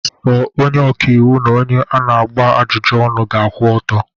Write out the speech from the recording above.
Sọ onye ọka iwu n'onye ọ na-agba ajụjụ ọnụ ga-akwụ ọtọ.